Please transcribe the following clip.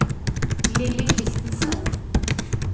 Lilly Kristensen